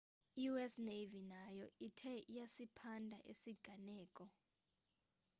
i-us navy nayo ithe iyasiphanda esi siganeko